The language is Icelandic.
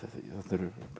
þetta eru